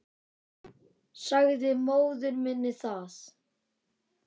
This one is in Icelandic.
Sagði móður minni það.